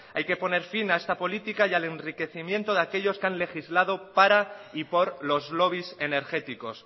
hay que poner fin a esta política y al enriquecimiento de aquellos que han legislado para y por los lobbies energéticos